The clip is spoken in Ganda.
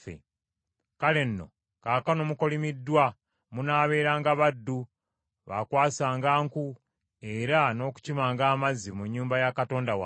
Kale nno kaakano mukolimiddwa, munaabeeranga baddu, baakwasanga nku era n’okukimanga amazzi mu nnyumba ya Katonda wange.”